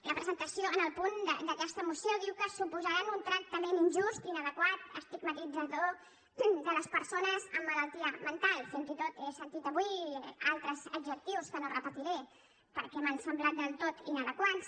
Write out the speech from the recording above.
la presentació en el punt d’aquesta moció diu que suposaran un tractament injust inadequat estigmatitzador de les persones amb malaltia mental fins i tot he sentit avui altres adjectius que no repetiré perquè m’han semblat del tot inadequats